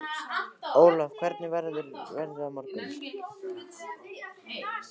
Olaf, hvernig verður veðrið á morgun?